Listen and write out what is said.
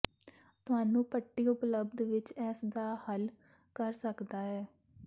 ਤੁਹਾਨੂੰ ਪੱਟੀ ਉਪਲੱਬਧ ਵਿਚ ਇਸ ਦਾ ਹੱਲ ਕਰ ਸਕਦਾ ਹੈ